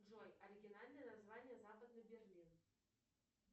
джой оригинальное название западный берлин